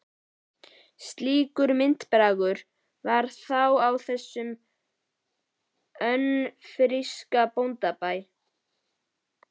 Slíkur myndarbragur var þá á þessum önfirska bóndabæ.